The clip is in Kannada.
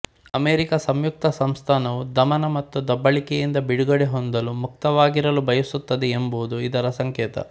ಅಮೆರಿಕಾ ಸಂಯುಕ್ತ ಸಂಸ್ಥಾನವು ದಮನ ಮತ್ತು ದಬ್ಬಾಳಿಕೆಯಿಂದ ಬಿಡುಗಡೆ ಹೊಂದಲು ಮುಕ್ತವಾಗಿರಲು ಬಯಸುತ್ತದೆ ಎಂಬುದು ಇದರ ಸಂಕೇತ